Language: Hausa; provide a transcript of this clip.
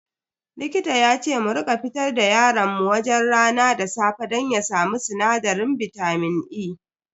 Likita yace mu rika fitar da yaron mu wajen rana da safe don ya samu sinadarin bitamin E.